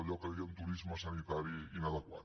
allò que en diem turisme sanitari inadequat